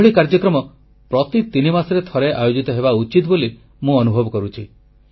ଏଭଳି କାର୍ଯ୍ୟକ୍ରମ ପ୍ରତି ତିନିମାସରେ ଥରେ ଆୟୋଜିତ ହେବା ଉଚିତ ବୋଲି ମୁଁ ଅନୁଭବ କରୁଛି